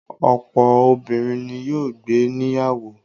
Ọ̀pọ̀ obìnrin ni yóò gbé níyàwó.